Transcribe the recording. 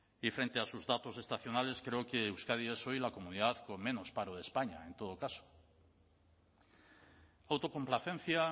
y frente a sus datos estacionales creo que euskadi es hoy la comunidad con menos paro de españa en todo caso autocomplacencia